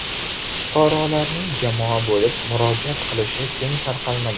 Fuqarolarning jamoa bo‘lib murojaat qilishi keng tarqalmagan.